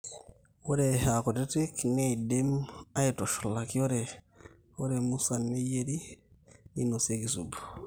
ore aakutitik neidimi aaitushulaki ore musan neyierri ninosieki subu